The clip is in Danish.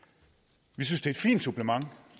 vi synes det et fint supplement